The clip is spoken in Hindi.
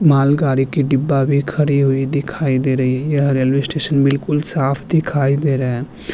मालगाड़ी की डिब्बा भी खड़ी हुई दिखाइ दे रही है यह रेलवे स्टेशन बिलकुल साफ दिखाई दे रहे हैं।